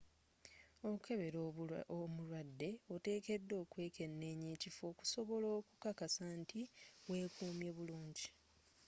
okukebera omulwadde oteekeddwa okwekkeneenya ekifo okusobola okukakasa nti wekumye bulungi